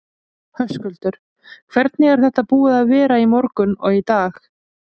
Höskuldur: Hvernig er þetta búið að vera í morgun og í dag?